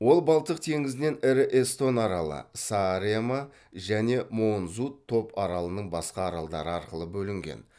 ол балтық теңізінен ірі эстон аралы сааремаа және моонзунд топ аралының басқа аралдары арқылы бөлінген